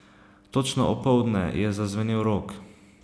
Točno opoldne je zazvenel rog.